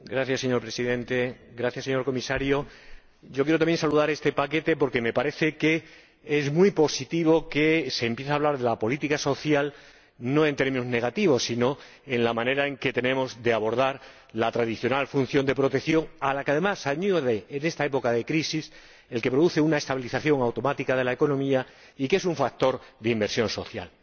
Señor Presidente, señor Comisario, quiero saludar este paquete porque me parece que es muy positivo que se empiece a hablar de la política social, no en términos negativos sino sobre la manera en que tenemos de abordar la tradicional función de protección, a la que, además, se añade en esta época de crisis el hecho de que produce una estabilización automática de la economía y es un factor de inversión social.